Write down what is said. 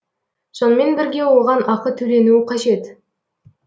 сонымен бірге оған ақы төленуі қажет